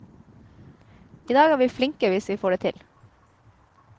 I dag er vi flinke hvis vi får det til.